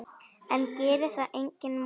En gerir það mig vondan?